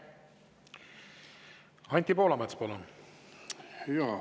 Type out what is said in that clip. Anti Poolamets, palun!